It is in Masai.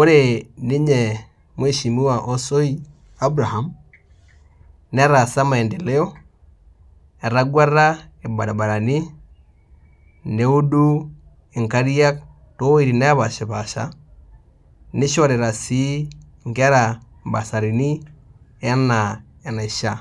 ore ninye mweshimiwa osoi Abraham netaasa maendeleo etageata irbaribarani neudu nkariak towuejitin napaasha naishorita sii nkera mbasarini ana enaisha.